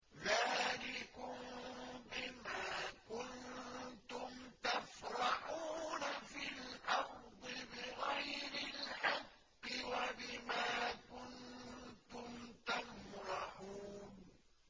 ذَٰلِكُم بِمَا كُنتُمْ تَفْرَحُونَ فِي الْأَرْضِ بِغَيْرِ الْحَقِّ وَبِمَا كُنتُمْ تَمْرَحُونَ